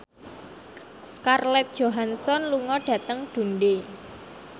Scarlett Johansson lunga dhateng Dundee